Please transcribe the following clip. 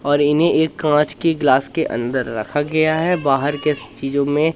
और इन्हें ये कांच की ग्लास के अंदर रखा गया है बाहर के चीजो में--